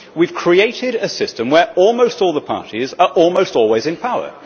We have created a system where almost all the parties are almost always in power.